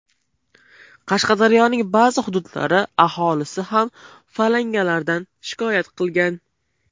Qashqadaryoning ba’zi hududlari aholisi ham falangalardan shikoyat qilgan.